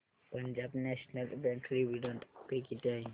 Punjab National Bank dividend pay किती आहे